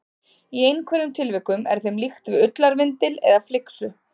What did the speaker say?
Í einhverjum tilvikum er þeim líkt við ullarvindil eða flyksu.